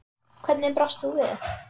Hvernig brást þú við?